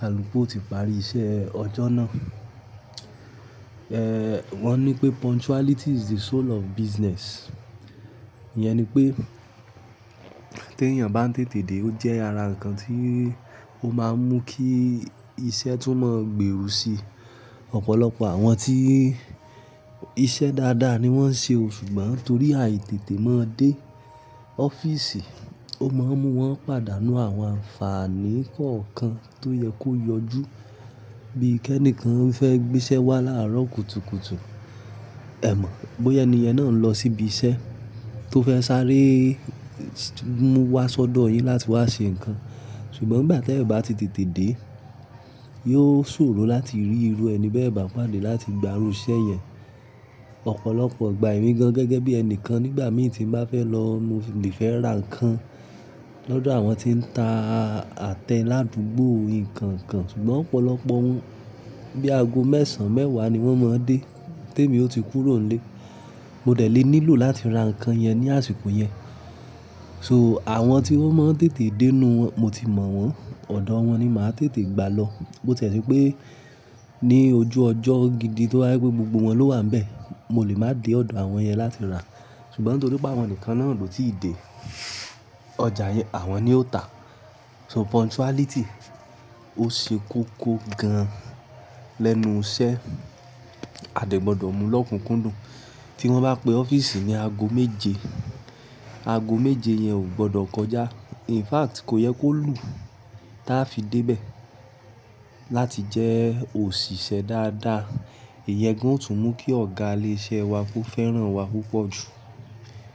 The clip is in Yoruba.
kaluku yo ti parí iṣẹ́ ọjọ́ náà. Wọ́n ní pé punctuality is the soul of business. Iyẹn ni pé tí èèyàn bá ń tètè dé ó jẹ́ ara ǹnkan tí ó máa ń mú kí iṣẹ́ tún mọ̀ gbèro si. Ọ̀pọ̀lọpọ̀ àwọn tí iṣẹ́ dáadáa ni wọ́n ń ṣe o ṣùgbọ́n torí àìtètè mọ́ dé ọ́fíìsì, ó máa ń mú wọ́n padà nu àwọn àǹfààní kọ̀ọ̀kan tó yẹ kó yọjú. Bí i kẹ́ẹ́nìkan fẹ́ gbé iṣẹ́ wá láárọ̀ kùtùkùtù, ẹ mọ̀ bóyá èni yàn náà ń lọ síbi iṣẹ́ tó fẹ́ sáré mú wá sọ́dọ̀ yín láti wá ṣe ǹnkan. Ṣùgbọ́n nigbà tí ẹeyan bá ti tètè dé, yóò ṣòro láti rí irú ẹni bẹ́ẹ̀ bá pàdé láti gba irú iṣẹ́ yẹn. Ọ̀pọ̀lọpọ̀ ìgbà èmi gan-an gẹ́gẹ́ bí ẹni kan nígbà mí tí ń bá fẹ́ lọ, mo lè fẹ́ ra ǹnkan lọ́dọ̀ àwọn tí ń ta àtẹ ládùúgbò ǹnkan kan ṣùgbọ́n ọ̀pọ̀lọpọ̀ wọ́n bí i aago mẹ́sàn-án, mẹ́wàá ni wọ́n máa ń dé. Téèmi ó ti kúrò nílé, mo dẹ̀ lé nílò láti ra ǹnkan yẹn ní àsìkò yẹn. So àwọn tí wọ́n mọ̀ n tètè dé ninu won mo ti mọ̀ wọ́n, ọ̀dọ̀ wọn ni màá tètè gbà lọ. Bo tiẹ̀ se pé ní ojú ọjọ́ gidi tó bá jẹ́ pé gbogbo wọn ló wà níbẹ̀, mo lè máa dé ọ̀dọ̀ àwọn yẹn láti ra. Ṣùgbọ́n torí pé àwọn nìkan náà lò tí ì dé, ọjà yẹn àwọn ni ó ta. So punctuality ó ṣe koko gan lẹ́nu iṣẹ́, a dè gbọ́dọ̀ mú lọ́kùnkúndùn. Tí wọ́n bá pe ọ́fíìsì ní aago méje, aago méje yẹn ò gbọdọ̀ kọjá. In fact kò yẹ kó lù táa fi dé bẹ̀ láti jẹ́ òṣìṣẹ́ dáadáa. Ìyẹn gan òòtú mú kí ọ̀gá ilé iṣẹ́ wa kó fẹ́ràn wa púpọ̀ jù.